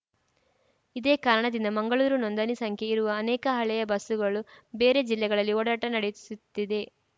ಇದೇ ಕಾರಣದಿಂದ ಮಂಗಳೂರು ನೋಂದಣಿ ಸಂಖ್ಯೆ ಇರುವ ಅನೇಕ ಹಳೆಯ ಬಸ್ಸುಗಳು ಬೇರೆ ಜಿಲ್ಲೆಗಳಲ್ಲಿ ಓಡಾಟ ನಡೆಸುತ್ತಿದೆ